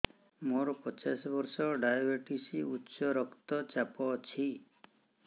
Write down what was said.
ମୋର ପଚାଶ ବର୍ଷ ଡାଏବେଟିସ ଉଚ୍ଚ ରକ୍ତ ଚାପ ଅଛି